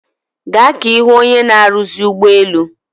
Gaa ka ihu onye na-aruzi ugboelu